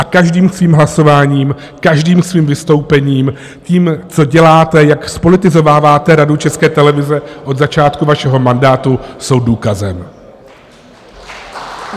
A každým svým hlasováním, každým svým vystoupením, tím, co děláte, jak zpolitizováváte Radu České televize od začátku vašeho mandátu, jsou důkazem.